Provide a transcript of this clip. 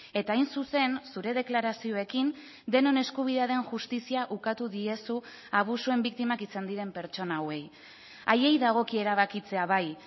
eta hain zuzen zure deklarazioekin denon eskubidea den justizia ukatu diezu abusuen biktimak izan diren pertsona hauei haiei dagokie erabakitzea bai